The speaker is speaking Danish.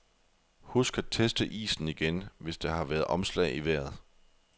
Husk at teste isen igen, hvis der har været omslag i vejret.